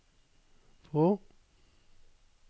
på